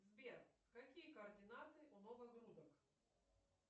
сбер какие координаты у новогрудок